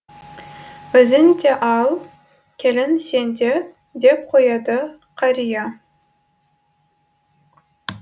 өзің де ал келін сен де деп қояды қария